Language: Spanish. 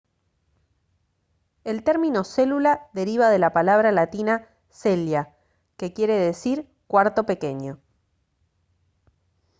el término célula deriva de la palabra latina cella que quiere decir «cuarto pequeño»